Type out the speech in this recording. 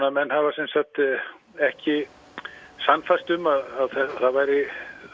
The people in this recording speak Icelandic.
menn höfðu ekki sannfærst um að það væri